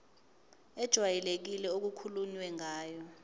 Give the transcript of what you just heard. ejwayelekile okukhulunywe ngayo